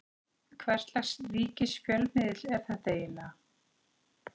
Hvers lags ríkisfjölmiðill er þetta eiginlega?